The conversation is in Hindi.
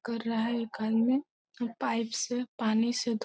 कर रहा है ये घर में पाइप से पानी से धो --